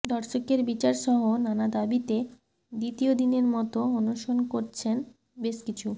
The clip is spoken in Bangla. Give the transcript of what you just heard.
ধর্ষকের বিচারসহ নানা দাবিতে দ্বিতীয় দিনের মতো অনশন করছেন বেশ কিছু